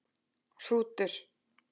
Hrútur